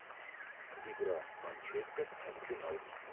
игра манчестер арсенал